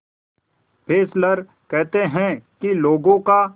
Fessler कहते हैं कि लोगों का